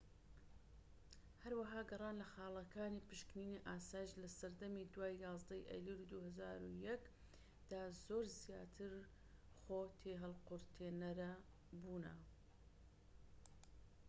هەروەها گەڕان لە خاڵەکانی پشکنینی ئاسایش لە سەردەمی دوای 11ی ئەیلولی 2001 دا زۆر زیاتر خۆ تێھەڵقورتێنەر بوونە